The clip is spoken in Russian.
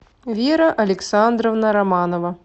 вера александровна романова